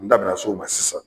N da bi na s'oma sisan